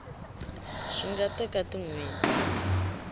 swi nga teka tin hweti